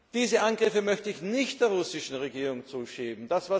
Diese Angriffe möchte ich nicht der russischen Regierung zuschieben.